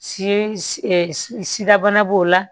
Si sidabana b'o la